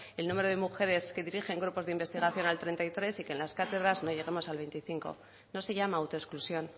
el número de mujeres que dirigen grupos de investigación al treinta y tres y que en las cátedras no lleguemos al veinticinco no se llama autoexclusión